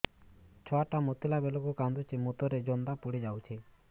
ଛୁଆ ଟା ମୁତିଲା ବେଳକୁ କାନ୍ଦୁଚି ମୁତ ରେ ଜନ୍ଦା ପଡ଼ି ଯାଉଛି